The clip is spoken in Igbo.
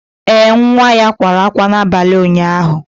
Ee, nwa ya kwara ákwá n'abalị ụnyaahụ